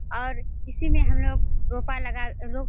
और इसी मे हम लोग रोपा लगा रो --